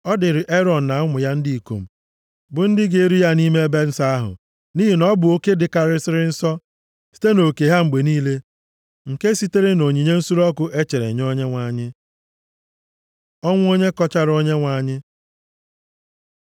Ọ dịrị Erọn na ụmụ ya ndị ikom, bụ ndị ga-eri ya nʼime nʼebe nsọ ahụ, nʼihi na ọ bụ oke dịkarịsịrị nsọ, site nʼoke ha mgbe niile, nke sitere nʼonyinye nsure ọkụ e chere nye Onyenwe anyị.” Ọnwụ onye kọchara Onyenwe anyị